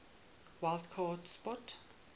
wild card spot